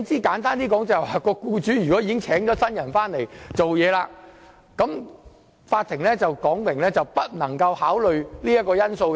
簡單而言，即使僱主已聘請了新僱員工作，法院要表明不能考慮這個因素。